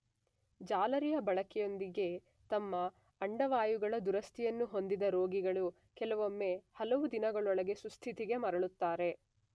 ಜಾಲರಿಯ ಬಳಕೆಯೊಂದಿಗೆ ತಮ್ಮ ಅಂಡವಾಯುಗಳ ದುರಸ್ತಿಯನ್ನು ಹೊಂದಿದ ರೋಗಿಗಳು ಕೆಲವೊಮ್ಮೆ ಹಲವು ದಿನಗಳೊಳಗೆ ಸುಸ್ಥಿತಿಗೆ ಮರಳುತ್ತಾರೆ.